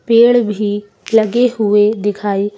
पेड़ भी लगे हुए दिखाए--